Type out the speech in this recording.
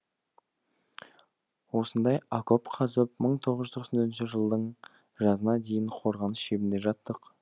осындай окоп қазып мың тоғыз жүз тоқсан төртінші жылдың жазына дейін қорғаныс шебінде жаттық